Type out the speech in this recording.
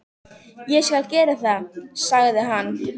Ég skal gera það, sagði hann.